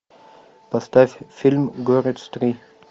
поставь фильм горец три